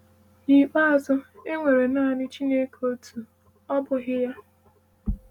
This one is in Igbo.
N’ikpeazụ, e nwere naanị Chineke otu, ọ bụghị ya?